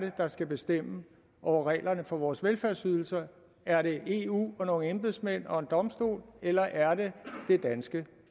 der skal bestemme over reglerne for vores velfærdsydelser er det eu og nogle embedsmænd og en domstol eller er det det danske